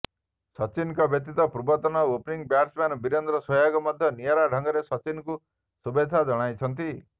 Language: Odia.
ସଚିନଙ୍କ ବ୍ୟତୀତ ପୂର୍ବତନ ଓପନିଂ ବ୍ୟାଟ୍ସମ୍ୟାନ୍ ବୀରେନ୍ଦ୍ର ସେହ୍ୱାଗ ମଧ୍ୟ ନିଆରା ଢଙ୍ଗରେ ସଚିନଙ୍କୁ ଶୁଭେଚ୍ଛା ଜଣାଇଛନ୍ତି